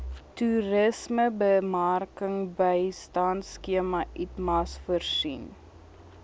toerismebemarkingbystandskema itmas voorsien